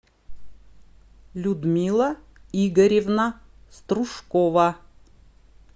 людмила игоревна стружкова